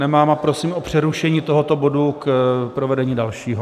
Nemám a prosím o přerušení tohoto bodu k provedení dalšího.